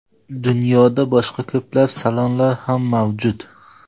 Dunyoda boshqa ko‘plab salonlar ham mavjud.